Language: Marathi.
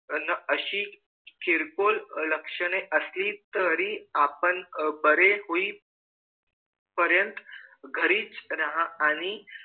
न अशी खिलबुल लक्षण असेल तरी आपण बारे होय पर्यंत घारिच रहा आणि